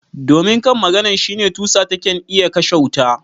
Domin kan maganan shine tusa taken iya kashe wuta.